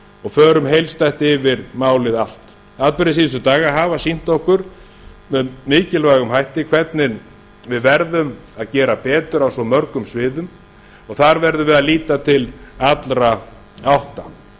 og förum heildstætt yfir málið allt atburðir síðustu daga hafa sýnt okkur með mikilvægum hætti hvernig við verðum að gera betur á svo mörgum sviðum og þar verðum við að líta til allra átta